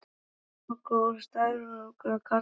Þetta var roka úr skrækróma karlmanni.